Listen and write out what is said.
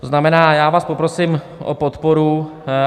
To znamená, já vás poprosím o podporu.